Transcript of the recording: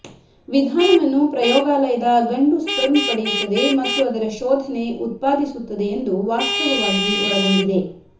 ವಿಧಾನವನ್ನು ಪ್ರಯೋಗಾಲಯದ ಗಂಡು ಸ್ಪರ್ಮ್ ಪಡೆಯುತ್ತದೆ ಮತ್ತು ಅದರ ಶೋಧನೆ ಉತ್ಪಾದಿಸುತ್ತದೆ ಎಂದು ವಾಸ್ತವವಾಗಿ ಒಳಗೊಂಡಿದೆ